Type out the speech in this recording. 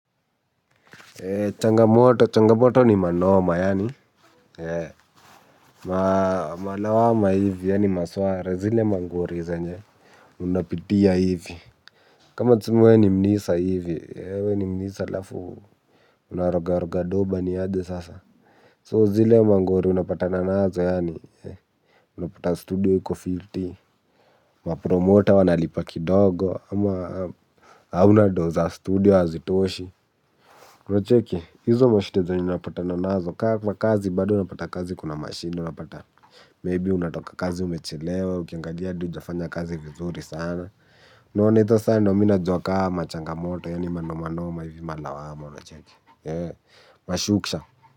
Changamoto, changamoto ni manoma yaani malawama hivi yaani maswala, zile mangori zenye unapitia hivi. Kama tuseme wewe ni munisa hivi, we ni munisa halafu unaroga roga doba ni aje sasa So zile mangori unapatana nazo yaani unapata studio iko fiti. Mapromota wanalipa kidogo ama hauna doo za studio hazitoshi unacheki, hizo mashida zenye unapatana nazo, ka kwa kazi bado unapata kazi kuna mashida unapata Maybe unatoka kazi umechelewa, ukiangalia hadi hujafanya kazi vizuri sana unaona, hizo saa ndio mimi najua ka machangamoto, yani manomanoma, hivi malawama, unacheki. Mashuksha.